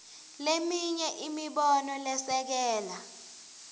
leminye imibono lesekela